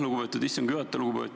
Lugupeetud istungi juhataja!